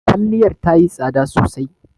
Kwalliyar tayi tsada sosai.